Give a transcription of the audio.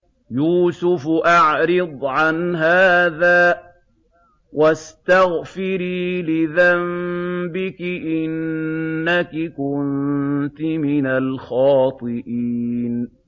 يُوسُفُ أَعْرِضْ عَنْ هَٰذَا ۚ وَاسْتَغْفِرِي لِذَنبِكِ ۖ إِنَّكِ كُنتِ مِنَ الْخَاطِئِينَ